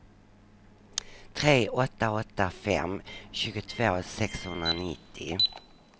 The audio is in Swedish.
tre åtta åtta fem tjugotvå sexhundranittio